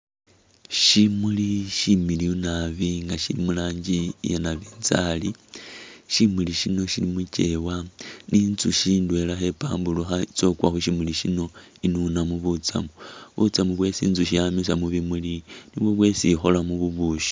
Shimuli shimiliyu naabi nga shili muranji iya' nabinjari, shimuli shino shili muchewa, intsushi indwela khempamburukha khetsa khukwa khushimuli shino inunamo butsamu, butsamu bwesi intsushi yamisa mubimuli nibwo bwesi ikholamo bubushi